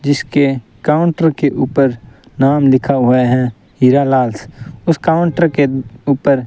जिसके काउंटर के ऊपर नाम लिखा हुआ है हीरालाल उस काउंटर के ऊपर --